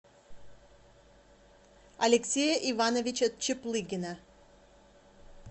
алексея ивановича чаплыгина